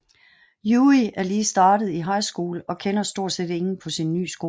Yui er lige startet i high school og kender stort set ingen på sin nye skole